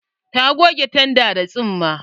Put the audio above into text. Ta goge tandar da tsumma.